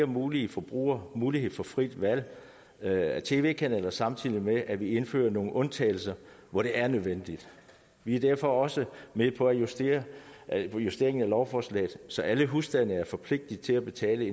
mulige forbrugere mulighed for frit valg af tv kanaler samtidig med at vi indfører nogle undtagelser hvor det er nødvendigt vi er derfor også med på en justering af justering af lovforslaget så alle husstande er forpligtet til at betale